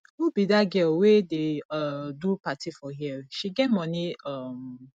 who be dat girl wey dey um do party for here she get money um